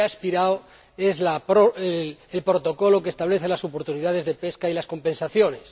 Lo que ha expirado es el Protocolo que establece las oportunidades de pesca y las compensaciones.